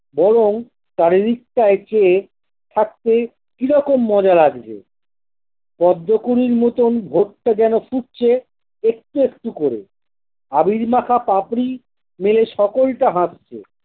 বরং চারিদিক টাই চেয়ে থাকতে কিরকম মজা লাগছে পদ্ম কুঁড়ির মতোন ভোরটা যেন ফুটছে একটু একটু করে আবির মাখা পাপড়ি মেলে সকালটা হাসছে।